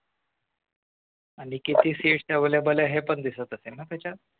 आणि किती seats available आहेत हे पण दिसत असेल ना त्याच्यात